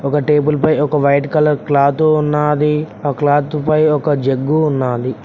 ఒక టేబుల్ పై ఒక వైట్ కలర్ క్లాతు ఉన్నాది ఆ క్లాతు పై ఒక జగ్గు ఉన్నాది.